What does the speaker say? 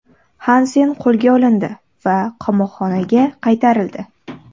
Xansen qo‘lga olindi va qamoqxonaga qaytarildi.